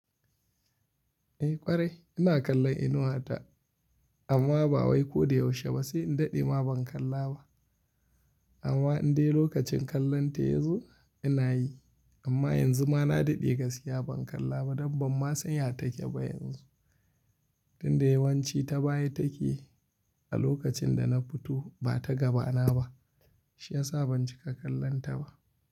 Eh ƙwarai ina kallon Inuwa ta amma ba wai ko da yaushe ba sai in daɗe ma ban kalla ba. Amma inda lokacin kallonta yazo ina yi amma yanzu ma na daɗe gaskiya ban kalla ba dan ban ma san ya take ba yanzu. Tunda yawanci ta baye take a lokacin da na fito ba ta gaba na ba shi ya sa ban cika kallonta ba.